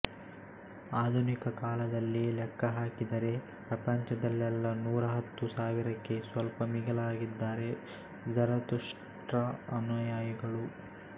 ಆಧುನಿಕ ಕಾಲದಲ್ಲಿ ಲೆಕ್ಕಹಾಕಿದರೆ ಪ್ರಪಂಚದಲ್ಲೆಲ್ಲ ನೂರ ಹತ್ತು ಸಾವಿರಕ್ಕೆ ಸ್ವಲ್ಪ ಮಿಗಿಲಾಗಿದ್ದಾರೆ ಝರತುಷ್ಟ್ರ ಅನುಯಾಯಿಗಳು